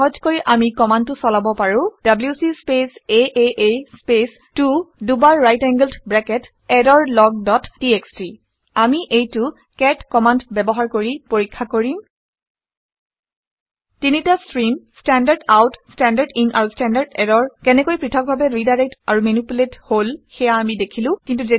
সহজকৈ আমি কামাণ্ডটো চলাৰ পাবোঁ - ডব্লিউচি স্পেচ আঁ স্পেচ 2 দুবাৰright angled bracket error log dot TXT আমি এইটো কেট কেট কামাণ্ড ব্যৱহাৰ কৰি চেক পৰীক্ষা কৰিম। তিনিটা stream - standard out standard in আৰু ষ্টেণ্ডাৰ্ড এৰৰ কেনেকৈ পৃথকভাবে ৰিডাইৰেকটেড আৰু মেনিপুলেটেড হল সেয়া আমি দেখিলো